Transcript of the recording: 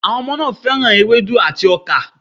Àwọn ọmọ náà fẹ́ràn ewédú àti ọkà